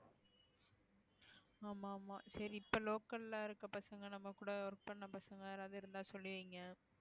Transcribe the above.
ஆமா ஆமா சரி இப்ப local ல இருக்க பசங்க நம்ம கூட work பண்ண பசங்க யாராவது இருந்தா சொல்லுவீங்க